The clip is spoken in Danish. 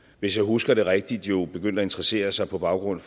hvis jeg husker det rigtigt jo begyndte at interessere sig på baggrund